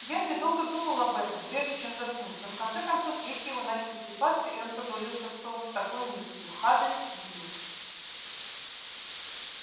генри долго думал об этом прежде чем заснуть но в конце концов веки его начали слипаться и он погрузился в сон с такой мыслью хандрит билл